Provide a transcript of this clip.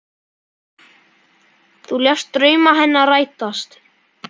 Þú lést drauma hennar rætast.